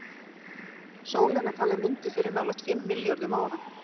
sólin er talin mynduð fyrir nálægt fimm milljörðum ára